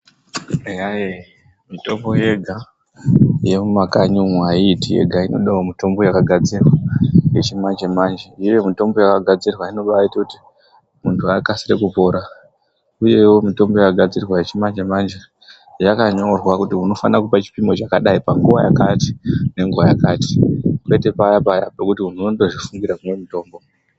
Eyaye mutombo yega yemumakanyi umwo ayiiti yega inodawo mutombo yakagadzirwa yechimanje manje. Iyeyo yakagadzirwa iyeyo mutombo yakagadzirwa inobaita kuti muntu akasire kupora iyeyo mutombo yakagadzirwa yakanyorwa kuti unofanira kupa chipimo chakadai panguwa yakati nenguwa yakati kwete payapaya pekuti unondozvifungira kumwa mutombo